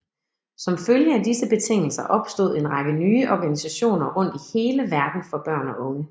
Som følge af disse betingelser opstod en række nye organisationer rundt i hele verden for børn og unge